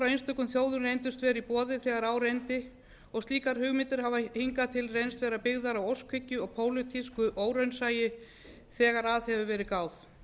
boði frá einstökum þjóðum þegar þegar á reyndi og slíka hugmyndir hafa hingað til reynst vera byggðar á óskhyggju og pólitísku óraunsæi þegar að hefur verið gáð